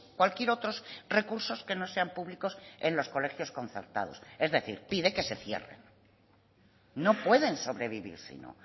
cualquier otros recursos que no sean públicos en los colegios concertados es decir pide que se cierren no pueden sobrevivir si no